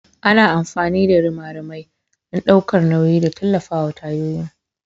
Ana amfani da rimarimai don ɗaukar nauyi da tallafawa tayoyin.